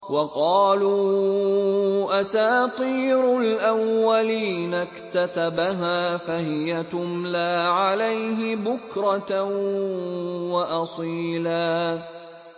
وَقَالُوا أَسَاطِيرُ الْأَوَّلِينَ اكْتَتَبَهَا فَهِيَ تُمْلَىٰ عَلَيْهِ بُكْرَةً وَأَصِيلًا